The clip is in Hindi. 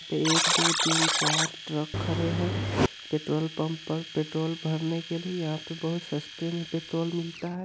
एक दो तीन चार ट्रक खड़े है पेट्रोल पम्प पर पेट्रोल भरने के लिए यह पर बहुत सस्ते में पेट्रोल मिलता है।